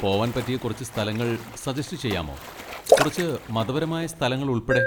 പോവാൻ പറ്റിയ കുറച്ച് സ്ഥലങ്ങൾ സജസ്റ്റ് ചെയ്യാമോ, കുറച്ച് മതപരമായ സ്ഥലങ്ങളുൾപ്പെടെ?